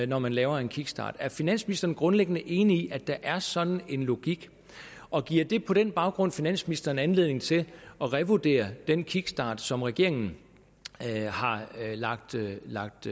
når man laver en kickstart er finansministeren grundlæggende enig i at der er sådan en logik og giver det på den baggrund finansministeren anledning til at revurdere den kickstart som regeringen har lagt lagt